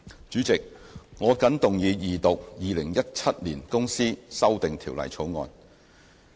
主席，我謹動議二讀《2017年公司條例草案》。